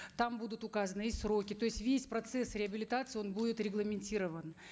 там будут указаны и сроки то есть весь процесс реабилитации он будет регламентирован